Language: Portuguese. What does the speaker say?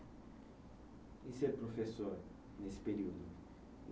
E ser professor nesse período?